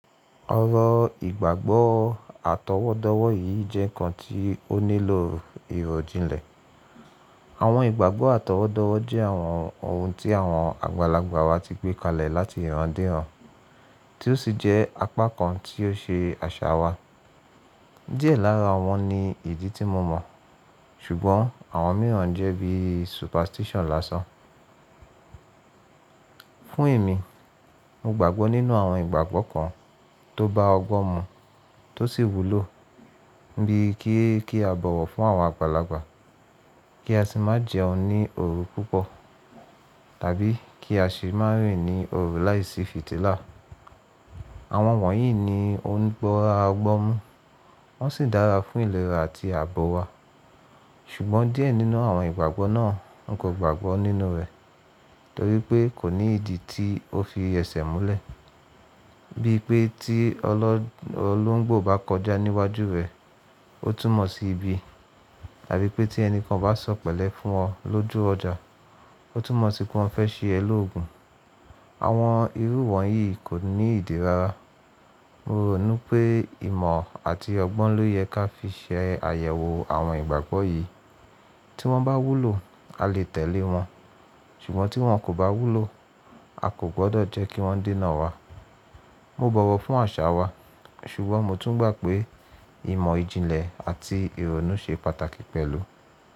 Ọrọ̀ ìgbàgbọ́ àtọwọ́dọwọ́ yìí jẹ́ ǹkan tí ó nílò ìròjinlẹ̀. Àwọn ìgbàgbọ́ àtọwọ́dọwọ́ jẹ́ àwọn ohun tí àwọn àgbàlagbà wa ti gbé kalẹ̀ láti ìran dé ìran, tí ó sì jẹ́ apá kan tí ó ṣe àṣà wa. Díẹ̀ lára wọn ni ìdí tí mo mọ̀, ṣùgbọ́n àwọn mìíràn jẹ́ bí superstition lásán. Fún èmi, mo gbàgbọ́ nínú àwọn ìgbàgbọ́ kan tó bá ọgbọ́n mu, tó sì wúlò, bí kí kí a bọ̀wọ̀ fún àwọn àgbàlagbà, kí a sì má jẹun ní òru púpọ̀, tàbí kí á sì má rìn ní òru láìsí fìtílà. Àwọn wọ̀nyí ni ó ń ba ọgbọ́n mu, wọ́n sì dára fún ìlera àti àbọ̀ wa. Ṣùgbọ́n díẹ̀ nínú àwọn ìgbàgbọ́ náà n kò gbàgbọ́ nínú rẹ̀, torí pé kò ní ìdí tí ó fi ese múlẹ̀. Bí i pé tí ọlọ́ọ̀lúńgbò bá kọjá níwájú rẹ̀, ó túmọ̀ sí ibi, tàbí pé tí ẹni kan bá sọ̀ pẹ̀lẹ́ fún ọ lójú ọjà, ó túmọ̀ sí pé wọ́n fẹ́ ṣe ẹ lógun. Àwọn irú wọ̀nyí kò ní ìdírára. Mo rònú pé ìmọ̀ àti ọgbọ́n ló yẹ ká fi ṣe àyẹ̀wò àwọn ìgbàgbọ́ yìí. Tí wọ́n bá wúlò, a lè tẹ̀lé wọn, ṣùgbọ́n tí wọ́n kò bá wúlò, a kò gbọdọ̀ jẹ́ kí wọ́n dènà wa. Mo bọ̀wọ̀ fún àṣà wa, ṣùgbọ́n mo tún gbà pé ìmọ̀ ìjìnlẹ̀ àti ìrònú ṣe pàtàkì pẹ̀lú.